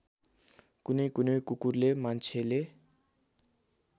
कुनैकुनै कुकुरले मान्छेले